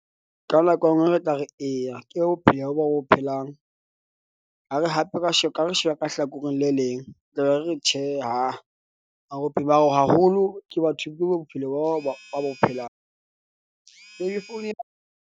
Ka nako e nngwe re tla re eya ke bopheya bo bo phelang. Ha re hape ha re sheba ka hlakoreng le leng, tla be re re tjhe ha a haholo ke batho, ke bophelo boo ba bo phelang. .